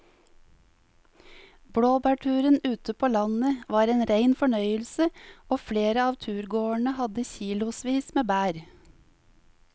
Blåbærturen ute på landet var en rein fornøyelse og flere av turgåerene hadde kilosvis med bær.